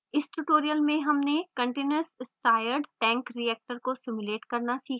इस tutorial में हमने continuous stirred tank reactor को simulate करना सीखा